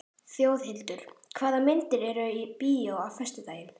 Þjóðhildur, hvaða myndir eru í bíó á föstudaginn?